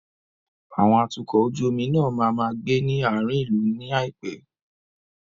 Àwọn atukọ̀ ojú omi náà máa máa gbé ní àárín ìlú ní àìpé.